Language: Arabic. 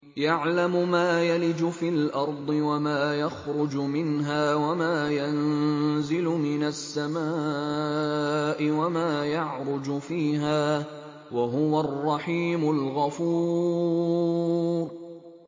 يَعْلَمُ مَا يَلِجُ فِي الْأَرْضِ وَمَا يَخْرُجُ مِنْهَا وَمَا يَنزِلُ مِنَ السَّمَاءِ وَمَا يَعْرُجُ فِيهَا ۚ وَهُوَ الرَّحِيمُ الْغَفُورُ